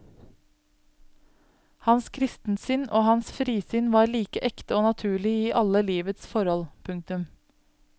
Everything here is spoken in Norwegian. Hans kristensinn og hans frisinn var like ekte og naturlig i alle livets forhold. punktum